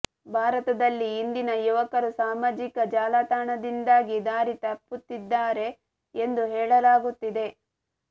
ಭಾರತದಲ್ಲಿ ಇಂದಿನ ಯುವಕರು ಸಾಮಾಜಿಕ ಜಾಲತಾಣದಿಂದಾಗಿ ದಾರಿ ತಪ್ಪುತ್ತಿದ್ದಾರೆ ಎಂದು ಹೇಳಲಾಗುತ್ತಿದೆ